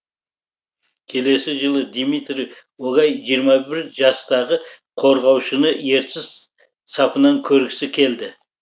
келесі жылы дмитрий огай жиырма бір жастағы қорғаушыны ертіс сапынан көргісі келді